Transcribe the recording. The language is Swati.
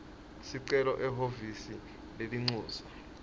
sicelo ehhovisi lelincusa